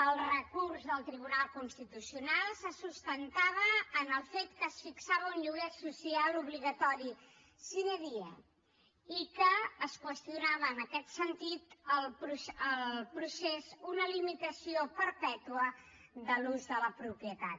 el recurs del tribunal constitucional se sustentava en el fet que es fixava un lloguer social obligatori sine die i que es qüestionava en aquest sentit el procés una limitació perpètua de l’ús de la propietat